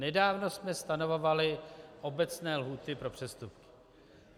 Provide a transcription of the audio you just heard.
Nedávno jsme stanovovali obecné lhůty pro přestupky.